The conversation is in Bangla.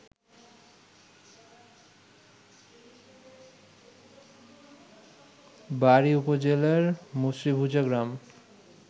বাড়ি উপজেলার মুসরীভুজা গ্রাম